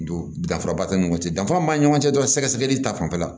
Don danfara b'a ni ɲɔgɔn cɛ danfara min b'an ni ɲɔgɔn cɛ dɔrɔn sɛgɛsɛgɛli ta fanfɛla